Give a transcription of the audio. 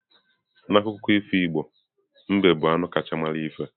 N'akụkọ ifo Igbo, mbe bụ anụ kacha mara ihe.